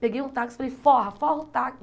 Peguei um táxi e falei, forra, forra o